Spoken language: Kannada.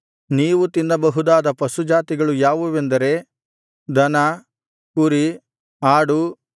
ನೀವು ತಿನ್ನಬಹುದಾದ ಪಶುಜಾತಿಗಳು ಯಾವುವೆಂದರೆ ದನ ಕುರಿ ಆಡು